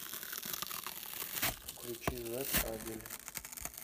включи зак абель